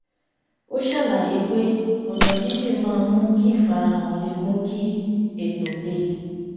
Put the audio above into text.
ó ṣàlàyé pé ọ̀nà jínjìn maá ń mú kí ìfarahàn le mú kí ètò le